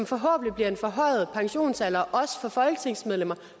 forhåbentlig en forhøjet pensionsalder også for folketingsmedlemmer